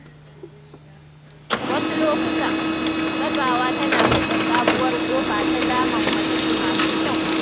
Wasu lokuta, gazawa tana buɗe sabuwar ƙofa ta damammaki masu kyau.